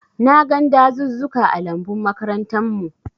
Na gan dazuzzuka ã lambun makarantan mu.